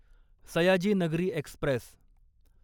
Sayaji Nagari Express